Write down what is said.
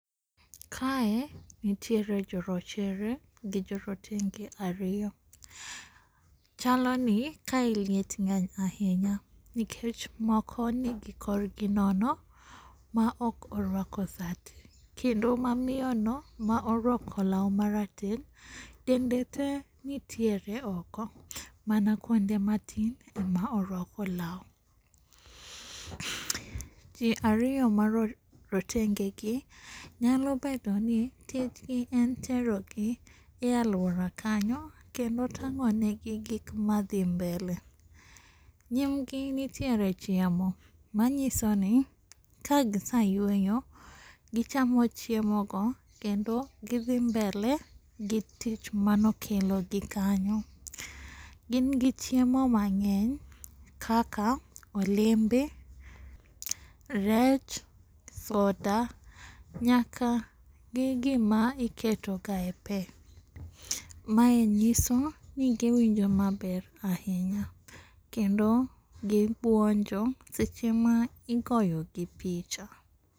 Kae nitiere jorochere gi jorotenge ariyo. Chaloni kae liet ng'eny ahinya nikech moko nigi korgi nono ma ok orwako sati kendo mamiyono ma orwako law marateng' dende te nitiere oko mana kuonde matin ema owako law. Ji ariyo mara rotengegi, nyalo bedoni tijgi en terogi e aluora kanyo kendo tang'onegi gik madhi mbele. Nyimgi nitiere chiemo manyisoni kagisayweyo gichamo chiemogo kendo gi dhi mbele gi tich mane okelogi kanyo. Gin gi chiemo mang'eny kaka olembe, rech, soda, nyaka gi gima iketoga epe. Mae nyisoni giwinjo maber ahinya kendo gibuonjo seche ma igoyogi pich.